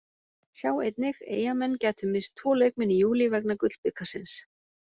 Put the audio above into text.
Sjá einnig: Eyjamenn gætu misst tvo leikmenn í júlí vegna Gullbikarsins